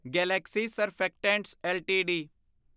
Galaxy surfactants LTD